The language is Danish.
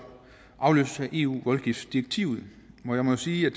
afløses af eu voldgiftdirektivet jeg må sige at